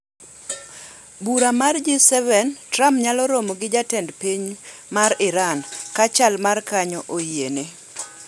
Bura mar G7: Trump nyalo romo gi jatend piny mar Iran ka chal makanyo oyiene.